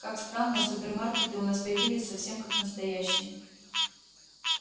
как странно супермаркеты у нас появились совсем как настоящие